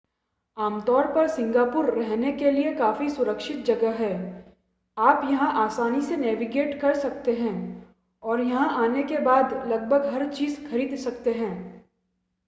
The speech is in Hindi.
आम तौर पर सिंगापुर रहने के लिए काफ़ी सुरक्षित जगह है आप यहां आसानी से नेविगेट कर सकते हैं और यहां आने के बाद लगभग हर चीज़ खरीद सकते हैं